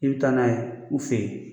I bɛ taa n'a ye u fe yen